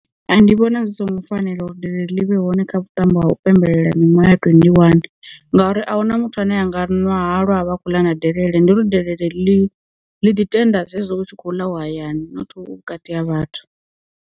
Ndi vhona zwi songo fanela uri delele ḽi vhe hone kha vhuṱambo ha u pembelela miṅwe ya ṱwe ndi one, ngauri a huna muthu ane anga ri ṅwa halwa a vha khou ḽa na delele ndi uri delele ḽi ḽiḓi tenda zwezwo u tshi khou ḽa u hayani nothi u vhukati ha vhathu.